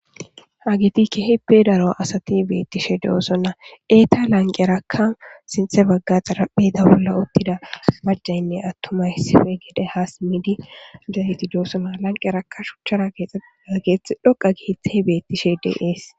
Hagetti kehippe darro asatti bettishe dossonna etta lanqerrakka sintha bagarra xarphezza bolla uttida maccaynne atummay hasimidi dossona lanqqerakka shucharra kexxetidda kethay dhoqqa kethay bettishe de's.